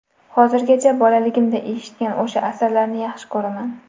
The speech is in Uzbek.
Hozirgacha bolaligimda eshitgan o‘sha asarlarni yaxshi ko‘raman.